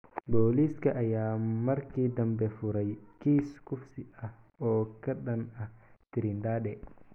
Booliiska ayaa markii dambe furay kiis kufsi ah oo ka dhan ah Trindade.